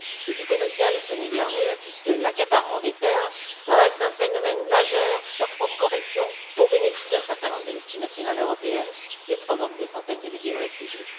Du côté social, ce n'est guère mieux puisque l'accaparement des terres reste un phénomène majeur sur fond de corruption au bénéfice d'un certain nombre de multinationales européennes et provoque des centaines de milliers de réfugiés.